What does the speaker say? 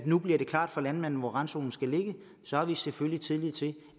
nu bliver klart for landmændene hvor randzonerne skal ligge så har vi selvfølgelig også tillid til